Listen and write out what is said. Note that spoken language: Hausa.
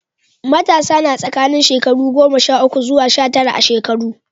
Matasa na tsakanin shekaru goma sha uku zuwa sha tara a shekaru.